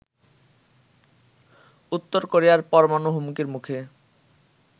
উত্তর কোরিয়ার পরমাণু হুমকির মুখে